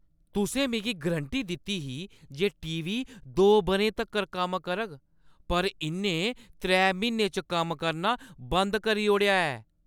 तुसैं मिगी गरंटी दित्ती ही जे टी. वी. दो बʼरें तक्कर कम्म करग पर इʼन्नै त्रै म्हीनें च कम्म करना बंद करी ओड़ेआ ऐ!